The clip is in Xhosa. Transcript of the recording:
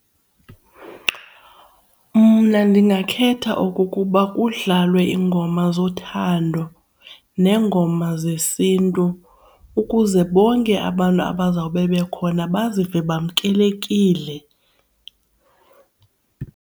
Mna ndingakhetha okukuba kudlalwe iingoma zothando neengoma zesiNtu ukuze bonke abantu abazawube bekhona bazive bamkelekile